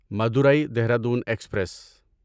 Madurai Dehradun express